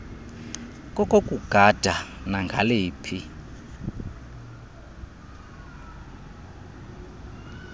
koku kugada nangaliphi